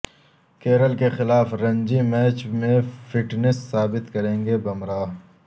کیرل کے خلاف رنجی میچ میں فٹنس ثابت کریں گے بمراہ